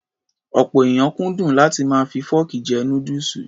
Ọ̀pọ̀ èèyàn kúndùn láti máa fi fọ́ọ̀kì jẹ núdùsù.